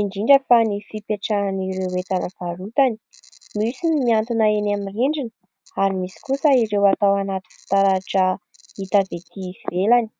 indrindra fa ny fipetrahan'ireo entana varotany, misy ny mihantona eny amin'ny rindrina ary misy kosa ireo atao anaty fitaratra hita ety ivelany.